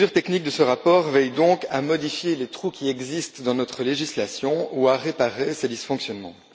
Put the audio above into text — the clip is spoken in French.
Les mesures techniques de ce rapport veillent donc à combler les trous qui existent dans notre législation ou à réparer ces dysfonctionnements.